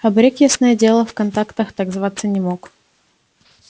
абрек ясное дело в контактах так зваться не мог